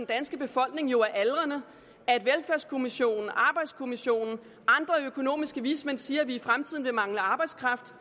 danske befolkning jo er aldrende og at velfærdskommissionen arbejdskommissionen og økonomiske vismænd siger at vi i fremtiden vil mangle arbejdskraft